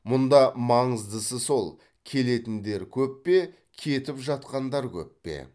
мұнда маңыздысы сол келетіндер көп пе кетіп жатқандар көп пе